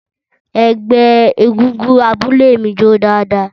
Ẹgbẹ́ egungun abúlé mi jó dáadáa